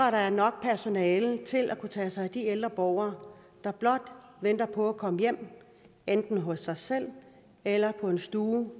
at der er nok personale til at kunne tage sig af de ældre borgere der blot venter på at komme hjem enten hos sig selv eller på en stue